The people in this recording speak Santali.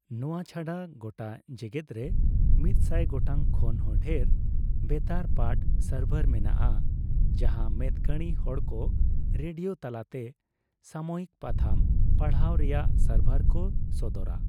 ᱱᱚᱣᱟ ᱪᱷᱟᱰᱟ ᱜᱚᱴᱟ ᱡᱮᱜᱮᱫ ᱨᱮ ᱢᱤᱫᱥᱟᱭ ᱜᱚᱴᱟᱝ ᱠᱷᱚᱱ ᱦᱚᱸ ᱰᱷᱮᱨ ᱵᱮᱛᱟᱨ ᱯᱟᱴᱷ ᱥᱟᱨᱵᱷᱟᱨ ᱢᱮᱱᱟᱜᱼᱟ ᱡᱟᱦᱟᱸ ᱢᱮᱫ ᱠᱟᱸᱬᱤ ᱦᱚᱲᱠᱚ ᱨᱮᱰᱤᱭᱳ ᱛᱟᱞᱟᱛᱮ ᱥᱟᱢᱚᱭᱤᱠ ᱯᱟᱛᱷᱟᱢ ᱯᱟᱲᱦᱟᱣ ᱨᱮᱭᱟᱜ ᱥᱟᱨᱵᱷᱟᱨ ᱠᱚ ᱥᱚᱫᱚᱨᱟ ᱾